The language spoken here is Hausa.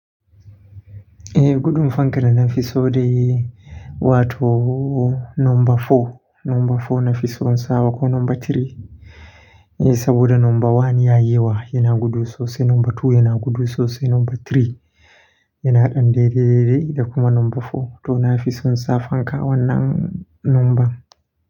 Eh gudun fankar da na fi so dai, wato nomba fo. Nomba four na fi so in sawa ko nomba three. Eh saboda nomba one ya yi wa, yana gudu sosai. Nomba two yana gudu sosai. Nomba three yana dan dede da kuma nomba four. To na fi son sa fanka wannan nomban.